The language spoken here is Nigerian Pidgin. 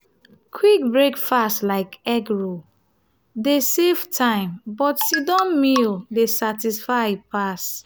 quick breakfast like egg roll dey save time but sit-down meal dey satisfy pass.